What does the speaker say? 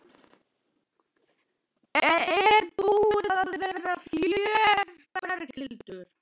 Er búið að vera fjör Berghildur?